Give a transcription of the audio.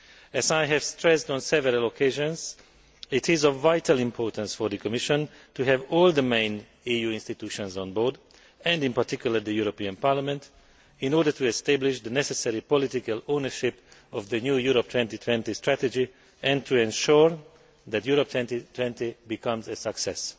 As I have stressed on several occasions, it is of vital importance for the Commission to have all the main EU institutions on board and, in particular, the European Parliament, in order to establish the necessary political ownership of the new Europe 2020 strategy and to ensure that Europe 2020 becomes a success.